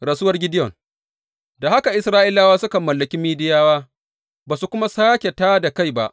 Rasuwar Gideyon Da haka Isra’ilawa suka mallaki Midiyawa ba su kuma sāke tā da kai ba.